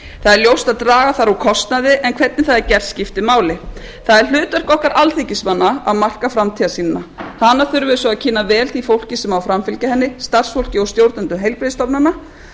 það er ljóst að draga þarf úr kostnaði en hvernig það er gert skiptir máli það er hlutverk okkar alþingismanna að marka framtíðarsýnina hana þurfum við svo að kynna vel því fólki sem á að framfylgja henni starfsfólki og stjórnendum heilbrigðisstofnana